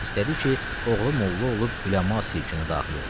İstədi ki, oğlu molla olub üləma silkini daxil olsun.